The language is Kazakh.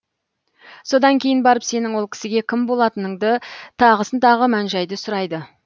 содан кейін барып сенің ол кісіге кім болатыныңды тағысын тағы мән жайды сұрайды